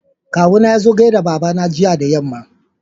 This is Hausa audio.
Kawu na yazo gaida babana jiya da yamma.